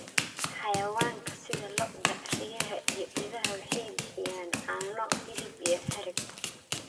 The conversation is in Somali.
Xayawaanka sida lo'da, riyaha, iyo idaha waxay bixiyaan caano, hilib, iyo harag.